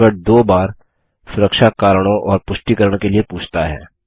password दो बार सुरक्षा कारणों और पुष्टिकरण के लिए पूछता है